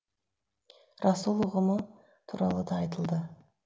расул ұғымы туралы да айтылды